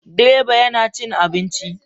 Direba yana cin abinci.